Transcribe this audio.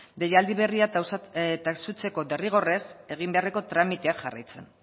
deialdi berria taxutzeko derrigorrez egin beharreko tramitea jarraitzen